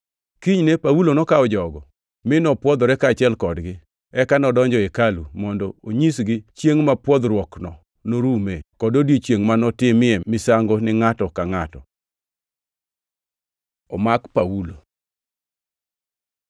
Kinyne Paulo nokawo jogo mi nopwodhore kaachiel kodgi, eka nodonjo e hekalu mondo onyisgi chiengʼ ma pwodhruokno norume, kod odiechiengʼ ma notimnie misango ni ngʼato ka ngʼato. Omak Paulo